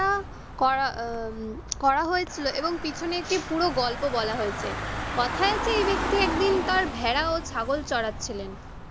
করা আহ করা হয়েছিল এবং পিছনে একটি পুরো গল্প বলা হয়েছে। কথায় আছে এই ব্যক্তি একদিন তার ভেড়া ও ছাগল চড়াচ্ছিলেন।